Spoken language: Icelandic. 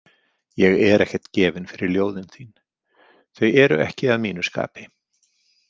Ég er ekkert gefinn fyrir ljóðin þín, þau eru ekki að mínu skapi